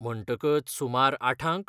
म्हणटकच सुमार आठांक?